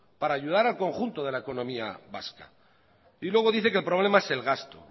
para ayudar el conjunto de la economía vasca y luego dice que el problema es el gasto